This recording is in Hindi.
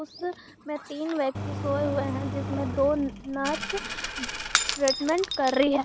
में तीन व्यक्ति सोए हुए हैं जिसमें दो नर्स ट्रीटमेंट कर रही है।